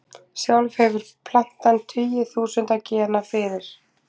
Sjálf hefur plantan tugi þúsunda gena fyrir.